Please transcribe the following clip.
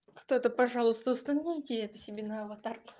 кто-то пожалуйста установите это себе на аватарку